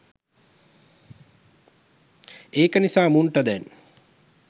ඒක නිසා මුන්ට දැන්